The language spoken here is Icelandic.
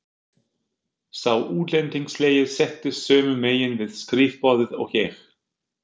Sá útlendingslegi settist sömu megin við skrifborðið og ég.